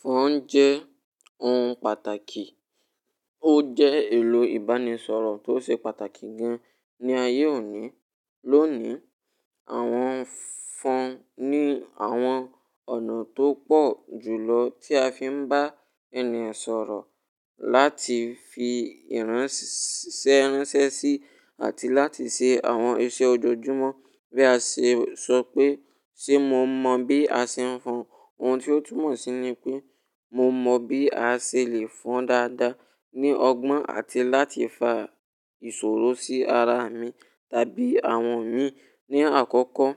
Phone jẹ́ ohun pàtàkì, ó jẹ́ èlò ìbánisọ̀rọ̀ tó ṣe pàtàkì gan ní ayé òní. Lónìí, àwọn phone ní àwọn ọ̀nà tó pọ̀ jùlọ tí a fi ń bá ènìyàn sọ̀rọ̀, láti fi ìránṣẹ́ ránṣẹ́ sí, àti láti ṣe àwọn iṣẹ́ ojoojúmọ́. Bí a ṣe sọ pé ṣe mo mọ̀ bí a ṣe ń fọn, ohun tí ó tún mọ̀ sí ni pé mo mọ̀ bí a ṣe lè fọn dáadáa ní ọgbọ́n àti láti fa ìṣòro sí ara mi tàbí àwọn mii. Ni àkọ́kọ́,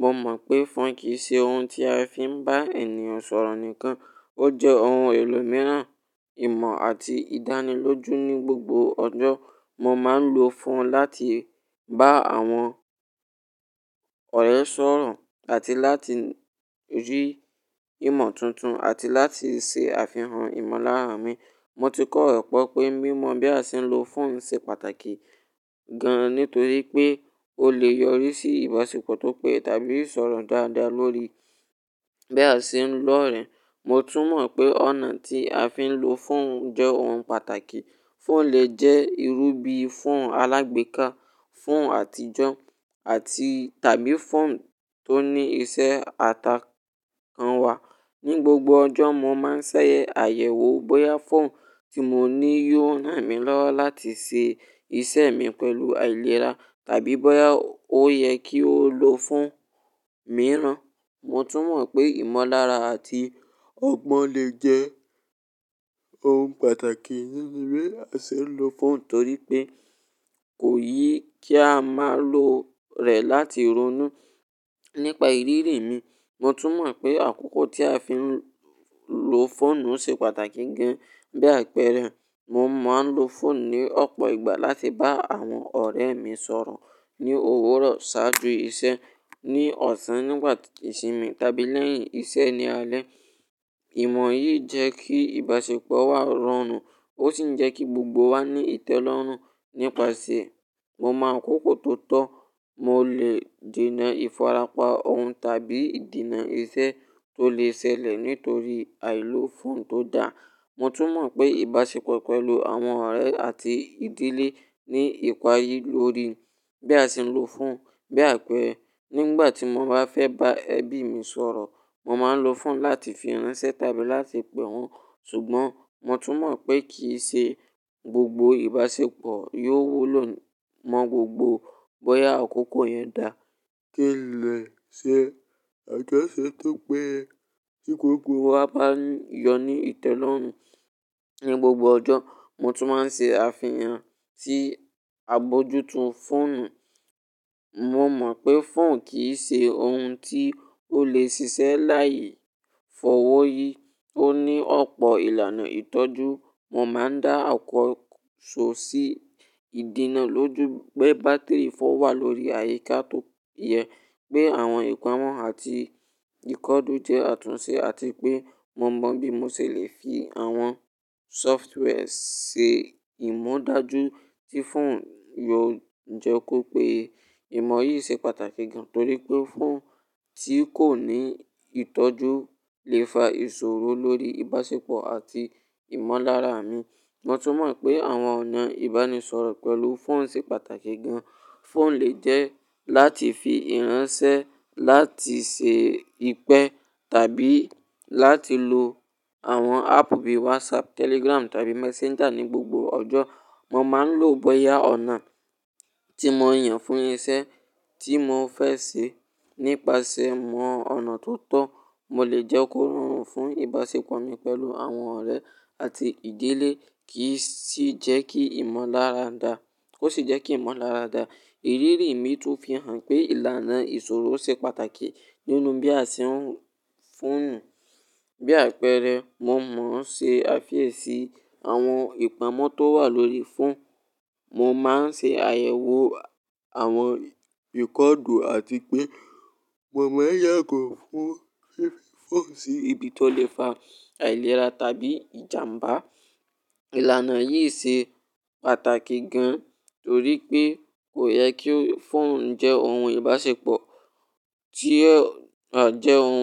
mo mọ̀ pé phone kì í ṣe ohun tí a fi ń bá ènìyàn sọ̀rọ̀ nìkan, ó jẹ́ ohun èlò mìíràn, ìmọ̀ àti ìdánilójú ní gbogbo ọjọ́. Mo máa ń lo phone láti bá àwọn ọ̀rẹ́ sọ̀rọ̀ àti láti rí ìmọ̀ tuntun àti láti ṣe àfihàn ìmọ̀lára mi. Mo ti kọ̀ rọ́pọ̀ pé mímọ̀ bí a ṣe ń lo phone ṣe pàtàkì gan ni torí pé ó lè yọrí sí ìbáṣepọ̀ tó pé tàbí ìsọ̀rọ̀ dáadáa lórí bí a ṣe ń lọ̀ọ́rìn. Mo tún mọ̀ pé ọ̀nà tí a fi ń lo phone jẹ́ ohun pàtàkì. Phone lè jẹ́ irú bí phone alágbèéká, phone àtijọ́ àti tàbí phone tó ní iṣẹ́ àtàkọ́ wa. Ni gbogbo ọjọ́, mo máa ń ṣẹ́ ayẹwo bóyá phone tí mo ní yóò ràn mí lọ́wọ́ láti ṣe ìṣe mi pẹ̀lú àìlera tàbí bóyá ó yẹ kí ó lo phone mìíràn. Mo tún mọ̀ pé ìmọ̀lára àti ọgbọ́n lè jẹ́ ohun pàtàkì nínú bí a ṣe ń lo phone torí pé kò yẹ kí a máa lo rẹ̀ láti ronú. Nípa ìrírí mi, mo tún mọ̀ pé àkókò tí a fi ń lo fóònù ṣe pàtàkì gan. Bí àpẹẹrẹ, mo máa ń lo phone ní ọ̀pọ̀ ìgbà láti bá àwọn ọ̀rẹ́ mi sọ̀rọ̀ ní òwúrọ̀ ṣáájú iṣẹ́, ní ọ̀sán nígbà ìsinmi tàbí lẹ́yìn iṣẹ́ ní alẹ́. Ìmọ̀ yìí jẹ́ kí ìbáṣepọ̀ wa rọrùn, ó sì ń jẹ́ kí gbogbo wa ní ìtẹ́lọ́rùn. Nípasẹ̀, mo máa ń kókó tó tọ̀, mo lè dènà ìfarapá ohun tàbí ìdènà iṣẹ́ tó lè ṣẹlẹ̀ nítorí àìlo phone tó da. Mo tún mọ̀ pé ìbáṣepọ̀ pẹ̀lú àwọn ọ̀rẹ́ àti ìdílé ní ìparí lórí bí a ṣe ń lo phone. Bí àpẹẹrẹ, nígbà tí mo bá fẹ́ bá ẹbí mi sọ̀rọ̀, mo máa ń lo phone láti fi ránṣẹ́ tàbí láti pè wọ́n. Ṣùgbọ́n mo tún mọ̀ pé kì í ṣe gbogbo ìbáṣepọ̀ yóò wúlò mọ́ gbogbo bóyá àkókò yẹn dáa kí lè ṣe àjọṣe, tó péye tí gbogbo wa bá jọ ní ìtẹ́lọ́rùn. Ni gbogbo ọjọ́, mo tún máa ń ṣe àfihàn sí àbojútó phone. Mo mọ̀ pé phone kì í ṣe ohun tí ó lè ṣiṣẹ́ láì fọwọ́ yi. Ó ní ọ̀pọ̀ ìlànà ìtọ́jú. Mo máa ń dá àkósọ̀ sí ìdènà lójú pẹ́ bátìrì phone wà lórí àyíká tó yẹ, pé àwọn ìpamọ́ àti ìkódú jẹ́ àtúnṣe àti pé mo mọ̀ bí mo ṣe lè fi àwọn software ṣe ìmúdájú tí phone yóò jẹ́ kó pé ìmọ̀ yìí ṣe pàtàkì gan torí pé phone tí kò ní ìtọ́jú lè fa ìṣòro lórí ìbáṣepọ̀ àti ìmọ̀lára mi. Mo tún mọ̀ pé àwọn ọ̀nà ìbánisọ̀rọ̀ pẹ̀lú phone ṣe pàtàkì gan. Phone lè jẹ́ láti fi ránṣẹ́, láti ṣe ìpẹ́ tàbí láti lo àwọn app bíi WhatsApp, Telegram tàbí Messenger. Ni gbogbo ọjọ́, mo máa ń lo bóyá ọ̀nà tí mo yàn fún iṣẹ́ tí mo fẹ́ ṣe. Nípasẹ̀ mọ ọ̀nà tó tọ̀, mo lè jẹ́ kó rọrùn fún ìbáṣepọ̀ mi pẹ̀lú àwọn ọ̀rẹ́ àti ìdílé kì í sì jẹ́ kí ìmọ̀lára dà, ó sì jẹ́ kí ìmọ̀lára dà. Ìrírí mi tún fi hàn pé ìlànà ìṣòro ṣe pàtàkì nínú bí a ṣe ń lo phone. Bí àpẹẹrẹ, mo mọ̀ ń ṣe àfiyèsí àwọn ìpamọ́ tó wà lórí phone. Mo máa ń ṣe àyẹ̀wò àwọn ìkódú àti pé mo mọ̀ yàgò fún gbé phone sí ibi tó lè fa àìlera tàbí ìjàmbá. Ìlànà yìí ṣe pàtàkì gan torí pé kò yẹ kí phone jẹ́ ohun ìbáṣepọ̀ tí ó jẹ́ ohun.